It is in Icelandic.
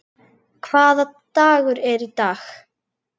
Hvaða dagur er í dag?